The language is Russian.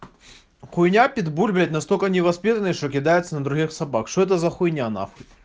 хуйня питбуль блять настолько невоспитанный что кидается на других собак что это за хуйня нахуй